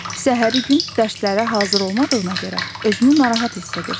Səhəri gün dərslərə hazır olmadığına görə özünü narahat hiss edirsən.